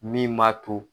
Min m'a to